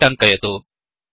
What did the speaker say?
इति टङ्कयतु